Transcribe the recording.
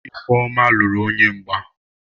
Ifeoma luru onye mgba.